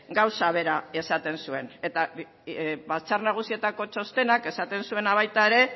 gauza bera esaten zuen eta batzar nagusietako txostenak esaten zuena baita ere